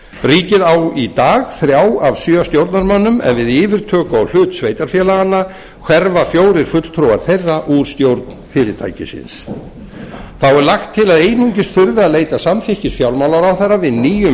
ríkið á í dag þrjá af sjö stjórnarmönnum en við yfirtöku á hlut sveitarfélaganna hverfa fjórir fulltrúar þeirra úr stjórn fyrirtækisins þá er lagt til að einungis þurfi að leita samþykkis fjármálaráðherra við nýjum